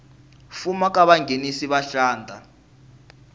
fuma ka vanghenisi va xandla